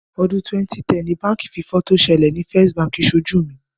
Ọdún 2010 ni báǹkì fífọ́ tó ṣẹlẹ̀ ni First Bank ṣojú mi.